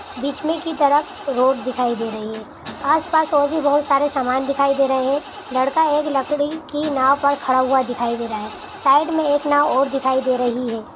बीच मे की तरफ रोड दिखाई दे रही है आस-पास ओर भी बोहोत सारे समान दिखाई दे रहे है लड़का एक लकड़ी की नाव पर खड़ा हुआ दिखाई दे रहा है। साइड मे एक नाव और दिखाई दे रही है।